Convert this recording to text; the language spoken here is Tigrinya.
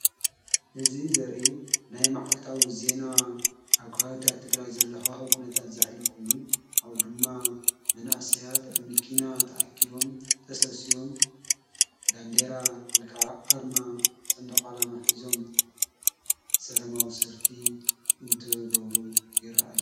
እዚ ዘርኢ ናይ መዓልታዊ ዜና ኣኳዊታ እትግራይ ዘለሖ ሕኩነታት ዘኅልፍ ኮይኑ ኣኡ ድማ መንእሳያት ኣሚኪና ተኣኪቦም ተሠውስዎም በንዴራ ዊከዓ ዓርማ ጸንድቓላማኂዞም ሰለማዊ ሰርፊ እንትበብሩ ይረአዮ::